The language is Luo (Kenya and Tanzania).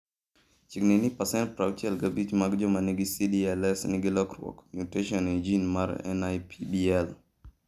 Chiegni ni pasent 65 mag joma nigi CdLS nigi lokruok (mutation) e gene mar NIPBL.